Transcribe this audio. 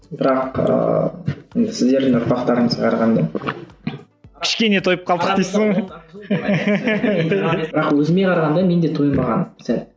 бірақ ыыы сіздердің ұрпақтарыңызға қарағанда кішкене тойып қалдық дейсің бірақ өзіме қарағанда мен де тойынбағанмын сәл